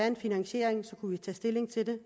en finansiering kunne vi tage stilling til det